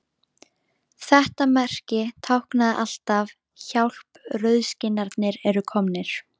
Þetta merki táknaði alltaf: Hjálp, rauðskinnarnir eru komnir